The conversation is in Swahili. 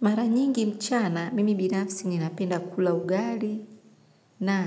Mara nyingi mchana, mimi binafsi ninapenda kula ugali na